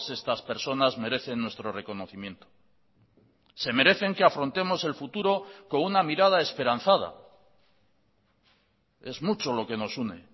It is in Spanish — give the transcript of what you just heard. estas personas merecen nuestro reconocimiento se merecen que afrontemos el futuro con una mirada esperanzada es mucho lo que nos une